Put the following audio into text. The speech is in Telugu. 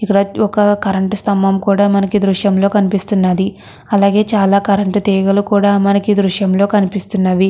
ఇక్కడ ఒక కరెంటు స్థంభం కూడా మనకి ఈ దృశ్యం లో కనిపిస్తున్నది. అలాగే చాల కరెంటు తీగలు కూడా మనకి ఈ దృశ్యం లో కనిపిస్తున్నది .